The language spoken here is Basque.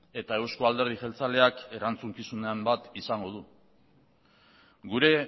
eta eusko alderdi jeltzaleak erantzukizunen bat izango du gure